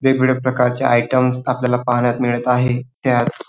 वेगवेगळ्या प्रकारचे आयटेम्स आपणाला पाहान्यात मिळत आहे. त्यात --